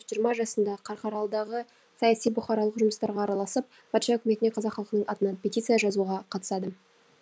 жиырма жасында қарқаралыдағы саяси бұқаралық жұмыстарға араласып патша өкіметіне қазақ халқының атынан петиция жазуға қатысады